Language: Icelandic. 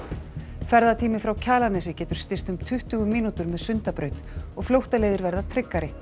ferðatími frá Kjalarnesi getur styst um tuttugu mínútur með Sundabraut og flóttaleiðir verða tryggari